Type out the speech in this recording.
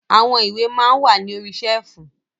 Àwọn ìwé maa ń wà ní orí ṣẹ́ẹ̀fù.